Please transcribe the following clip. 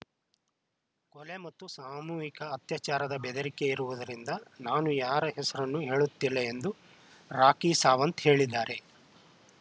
ಕೊಲೆ ಮತ್ತು ಸಾಮೂಹಿಕ ಅತ್ಯಾಚಾರದ ಬೆದರಿಕೆ ಇರುವುದರಿಂದ ನಾನು ಯಾರ ಹೆಸರನ್ನೂ ಹೇಳುತ್ತಿಲ್ಲ ಎಂದು ರಾಖಿ ಸಾವಂತ್‌ ಹೇಳಿದ್ದಾರೆ